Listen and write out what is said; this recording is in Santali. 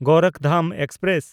ᱜᱳᱨᱚᱠᱷᱫᱷᱟᱢ ᱮᱠᱥᱯᱨᱮᱥ